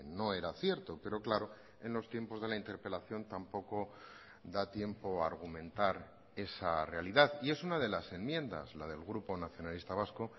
no era cierto pero claro en los tiempos de la interpelación tampoco da tiempo a argumentar esa realidad y es una de las enmiendas la del grupo nacionalista vasco